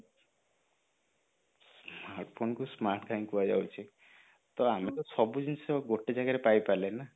smartphone କୁ smart କାହିଁକି କୁହାଯାଉଛି ତ ଆମେ ତ ସବୁ ଜିନିଷ ଗୋଟେ ଜାଗାରେ ପାଇ ପାରିଲେ ନା